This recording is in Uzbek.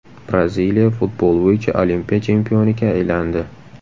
Braziliya futbol bo‘yicha Olimpiya chempioniga aylandi.